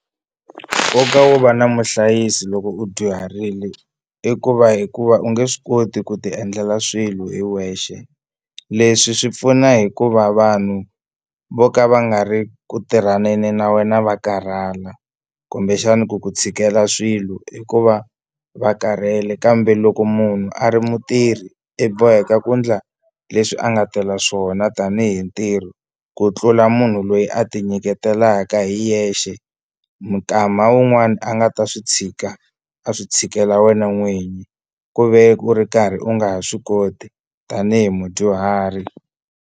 Nkoka wo va na muhlayisi loko u dyuharile i ku va hikuva u nge swi koti ku ti endlela swilo hi wexe leswi swi pfuna hikuva vanhu vo ka va nga ri ku tirhaneni na wena va karhala kumbexani ku ku tshikela swilo hi ku va va karhele kambe loko munhu a ri mutirhi i boheka ku endla leswi a nga tela swona tanihi ntirho ku tlula munhu loyi a ti nyiketelaka hi yexe mukama un'wani a nga ta swi tshika a swi tshikela wena n'wini ku ve u ri karhi u nga ha swi koti tanihi mudyuhari.